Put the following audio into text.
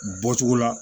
Bɔcogo la